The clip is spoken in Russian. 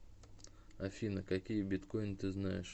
афина какие биткойн ты знаешь